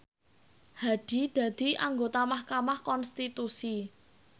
Hadi dadi anggota mahkamah konstitusi